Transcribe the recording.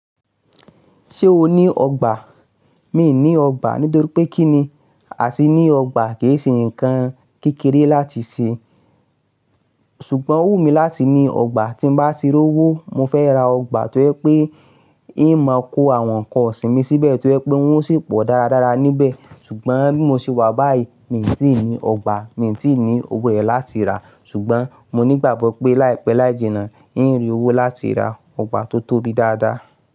Ṣé o ní ọgbà? Mi ní ọgbà nítorí pé kí ni àti ní ọgbà kì í ṣe nǹkan kékeré láti ṣe. Ṣùgbọ́n ó wù mí láti ní ọgbà tí n bá ti rí owó. Mo fẹ́ ra ọgbà tó yẹ pé ìn máa kó àwọn nǹkan ọ̀sìn mi síbẹ̀ tó yẹ pé wọn ó sì pọ̀ dáradára níbẹ̀. Ṣùgbọ́n bí mo ṣe wà báyìí, mi i tí ì ní ọgbà, mi tí ì ní owó rẹ̀ láti rà á. Ṣùgbọ́n mo ní gbàgbọ́ pé láìpẹ́ láìjìnà, ì ń rí owó láti ra ọgbà tó tóbi dáadáa.